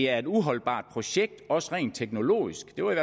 er et uholdbart projekt også rent teknologisk det var i